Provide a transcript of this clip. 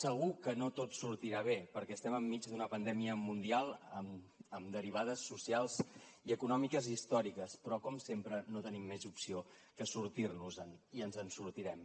segur que no tot sortirà bé perquè estem enmig d’una pandèmia mundial amb derivades socials i econòmiques històriques però com sempre no tenim més opció que sortir nos en i ens en sortirem